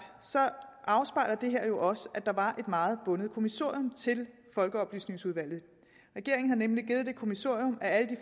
afspejler det her jo også at der var et meget bundet kommissorium til folkeoplysningsudvalget regeringen har nemlig givet det kommissorium at alle de